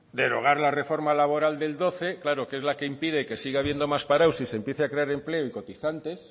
derogar la reforma laboral del doce claro que es la que impide que siga habiendo más parados y se empiece a crear empleo y cotizantes